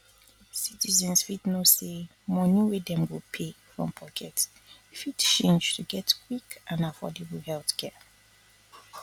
citizens fit know say money wey dem go pay from pocket fit change to get quick and affordable healthcare